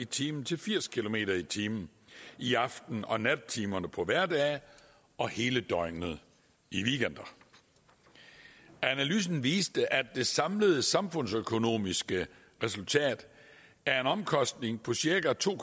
time til firs kilometer per time i aften og nattetimerne på hverdage og hele døgnet i weekenderne analysen viste at det samlede samfundsøkonomiske resultat er en omkostning på cirka to